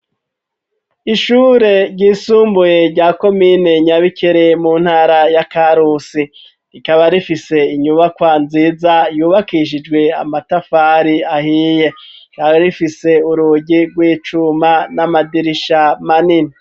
Ishure ryisumbuye rya komine nyabikere mu ntara ya karusi rikaba rifise inyubakwa nziza yubakishijwe amatafari ahiye rara rifise urugi rwicuma n'amadirisha manini.